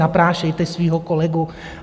Naprašte svého kolegu!